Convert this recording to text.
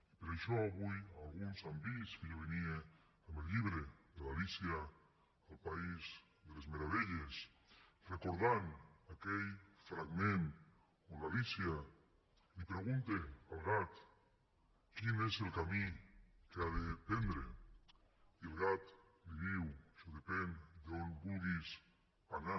i per això avui alguns han vist que jo venia amb el llibre de l’meravelles recordant aquell fragment on l’alícia pregunta al gat quin és el camí que ha de prendre i el gat li diu això depèn d’on vulguis anar